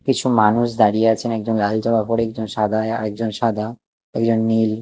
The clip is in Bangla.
কিছু মানুষ দাঁড়িয়ে আছেন একজন লাল জামা পরে একজন সাদা আরেকজন সাদা একজন নীল।